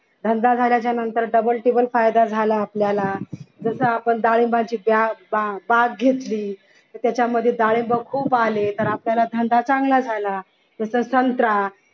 धंदा झाल्याच्या नंतर double टिबल फायदा झाला आपल्याला जस आपण डाळिंबाची बाग घेतली तर त्याच्यामध्ये डाळिंब खूप आले तर आपल्याला धंदा चांगला झाला तस संत्रा